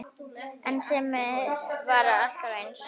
En Simmi var alltaf eins.